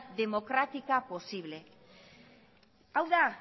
democrática posible hau da